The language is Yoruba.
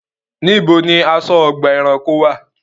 Níbo ni aṣọ́-ọgbà ẹranko wà?